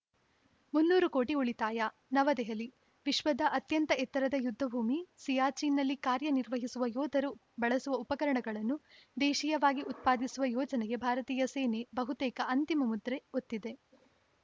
ಮುನ್ನೂರು ಕೋಟಿ ಉಳಿತಾಯ ನವದೆಹಲಿ ವಿಶ್ವದ ಅತ್ಯಂತ ಎತ್ತರದ ಯುದ್ಧಭೂಮಿ ಸಿಯಾಚಿನ್‌ನಲ್ಲಿ ಕಾರ್ಯನಿರ್ವಹಿಸುವ ಯೋಧರು ಬಳಸುವ ಉಪಕರಣಗಳನ್ನು ದೇಶೀಯವಾಗಿ ಉತ್ಪಾದಿಸುವ ಯೋಜನೆಗೆ ಭಾರತೀಯ ಸೇನೆ ಬಹುತೇಕ ಅಂತಿಮ ಮುದ್ರೆ ಒತ್ತಿದೆ